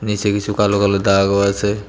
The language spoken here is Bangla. নীচে কিছু কালো কালো দাগও আছে।